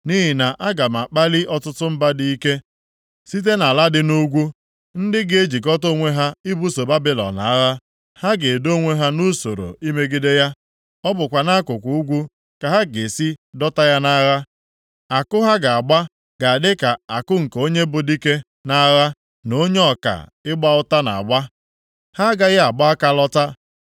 Nʼihi na aga m akpali ọtụtụ mba dị ike site nʼala dị nʼugwu, ndị ga-ejikọta onwe ha ibuso Babilọn agha. Ha ga-edo onwe ha nʼusoro imegide ya; ọ bụkwa nʼakụkụ ugwu ka ha ga-esi dọta ya nʼagha. Àkụ ha ga-agba ga-adị ka àkụ nke onye bụ dike nʼagha na onye ọka ịgba ụta na-agba. Ha agaghị agba aka lọta.